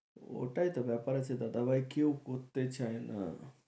ওটাই তো ব্যাপার আছে দাদা ভাই কেউ করতে চায় না